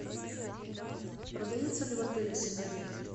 продаются ли в отеле сигареты